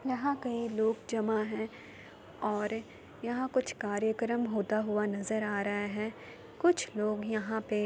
यहाँ कई लोग जमा है और यहा कुछ कार्यक्रम होता हुआ नजर आ रहा है कुछ लोग यहाँ पे --